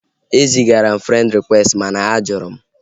O zigara m frend rịkwesti mana a jụrụ m